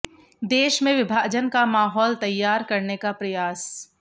देश में विभाजन का माहौल तैयार करने का प्रयास